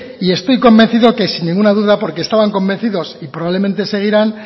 y estoy convencido que sin ninguna duda porque estaban convencidos y probablemente seguirán